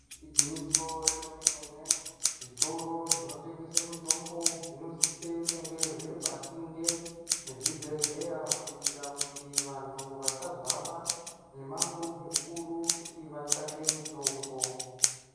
Igwinyiso remene-mene zvitoro zvinotengese mitombo zvinosise kunge zviri pasinde nezvibhedhlera kuitira kuti vantu vasazohamba mimango mikuru kuti vatsvake mitombo.